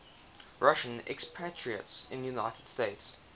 russian expatriates in the united states